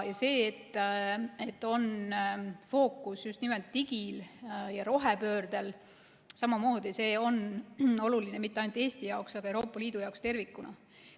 Ja see, et on fookus just nimelt digi- ja rohepöördel, on oluline, mitte ainult Eesti jaoks, vaid Euroopa Liidu jaoks tervikuna.